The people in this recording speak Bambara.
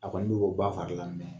A kɔni bɛ bɔ ba fari la